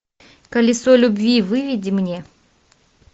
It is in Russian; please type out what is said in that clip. колесо любви выведи мне